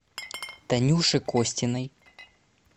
танюши костиной